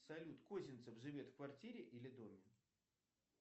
салют козинцев живет в квартире или доме